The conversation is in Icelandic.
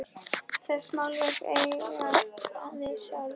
Þessi málverk eigast við sjálf.